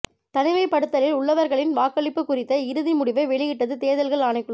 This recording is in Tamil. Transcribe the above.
தனிமைப்படுத்தலில் உள்ளவர்களின் வாக்களிப்பு குறித்த இறுதி முடிவை வெளியிட்டது தேர்தல்கள் ஆணைக்குழு